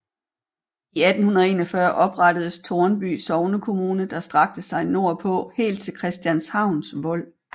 I 1841 oprettedes Tårnby Sognekommune der strakte sig nordpå helt til Christianshavns Vold